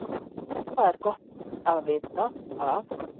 Það er gott að vita að